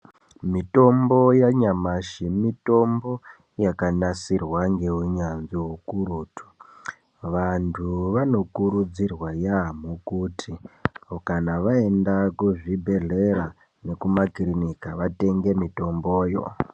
Mitombo yanyamashi mitombo yakanasirwa ngeunyanzvi hukurutu. Vantu vanokurudzirwa yaamho kuti, kana vaenda kuzvibhedhlera nekumakirinika vatenge mitomboyo.